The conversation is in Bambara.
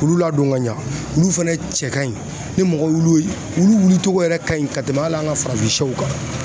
K'olu ladon ka ɲɛ olu fɛnɛ cɛ ka ɲi ni mɔgɔ olu wulicɔgɔ yɛrɛ ka ɲi ka tɛmɛ hali an ka farafin sɛw kan